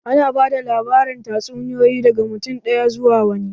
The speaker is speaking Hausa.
Ana ba da labarin tatsuniyoyi daga mutum ɗaya zuwa wani.